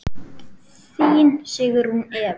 Þín Sigrún Eva.